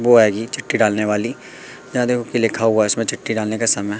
वो है जी छुट्टी डालने वाली यहां देखो लिखा हुआ है छुट्टी डालने का समय।